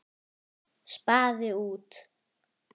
Spaði út.